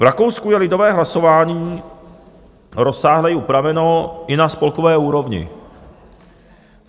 V Rakousku je lidové hlasování rozsáhleji upraveno i na spolkové úrovni.